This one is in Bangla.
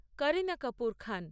কারিনা কাপুর খান